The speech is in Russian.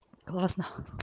классно